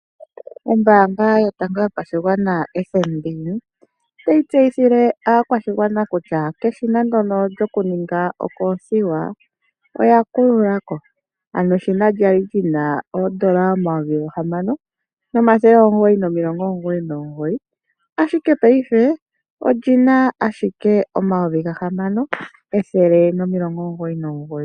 Ombaanga yotango yopashigwana FNB otayi tseyithile aakwashigwana keshina ndyono lyoku ninga okoothiwa oya kulula ko. Ano eshina lyali lyina oondola omayovi gahamano nomathele omugoyi nomilongo omugoyi nomugoyi, ashike paife olyina ashike omayovi gahamano ethele omilongo omugoyi nomugoyi.